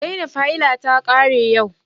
Zainab haila ta kare yau